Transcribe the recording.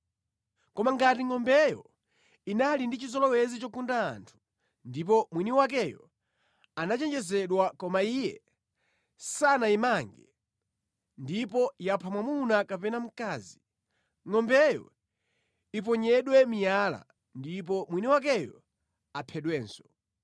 Koma ngati ngʼombeyo inali ndi chizolowezi chogunda anthu ndipo mwini wakeyo anachenjezedwa koma iye sanayimange ndipo yapha mwamuna kapena mkazi, ngʼombeyo iponyedwe miyala ndipo mwini wakeyo aphedwenso.